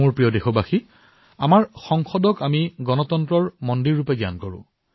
মোৰ মৰমৰ দেশবাসীসকল আমাৰ সংসদক গণতন্ত্ৰৰ মন্দিৰ হিচাপে জ্ঞান কৰা হয়